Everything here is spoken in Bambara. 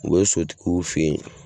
U bɛ sotigiw fɛ yen.